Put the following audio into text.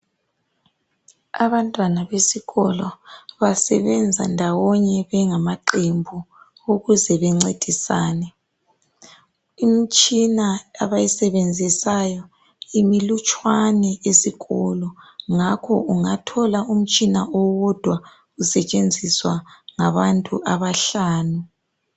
Abantwana besikolo basebenza ndawonye bengamaqembu ukuze bencedisane. Imtshina abayisebenzisayo imilutshane esikolo ngakho ungathola utshina owodwa usetshenziswa ngabantu abahlanu.